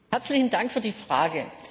Herzlichen Dank für die Frage.